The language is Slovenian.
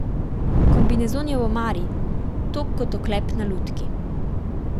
Kombinezon je v omari, tog kot oklep na lutki.